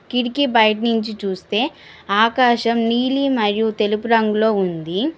కిటికి బయటినుంచి చూస్తే ఆకాశం నీలి మరియు తెలుపు రంగులో ఉంది